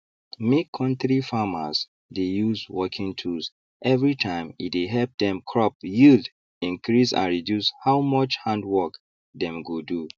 make kontri farmers dey use working tools everytime e dey help dem crop yield increase and reduce how much hand work dem go do